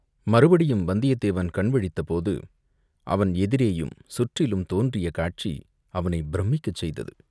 மறுபடியும் வந்தியத்தேவன் கண் விழித்தபோது, அவன் எதிரேயும் சுற்றிலும் தோன்றிய காட்சி அவனைப் பிரமிக்கச் செய்தது.